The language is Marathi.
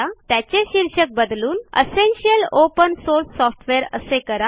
त्याचे शीर्षक बदलून एसेन्शियल ओपन सोर्स सॉफ्टवेअर असे करा